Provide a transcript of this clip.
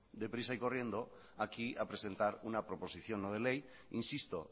deprisa y corriendo aquí a presentar una proposición no de ley insisto